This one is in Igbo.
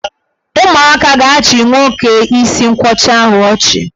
Ụmụaka ga-achị nwoke isi nkwọcha ahụ ọchị.